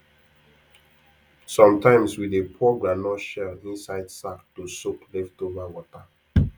sometimes we dey pour groundnut shell inside sack to soak leftover water